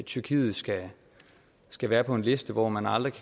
tyrkiet skal skal være på en liste hvor man aldrig